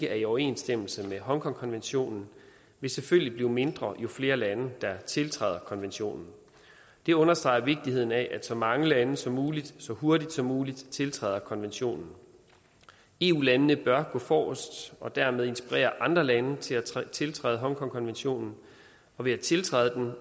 er i overensstemmelse med hongkongkonventionen vil selvfølgelig blive mindre jo flere lande der tiltræder konventionen det understreger vigtigheden af at så mange lande som muligt så hurtigt som muligt tiltræder konventionen eu landene bør gå forrest og dermed inspirere andre lande til at tiltræde hongkongkonventionen og ved at tiltræde den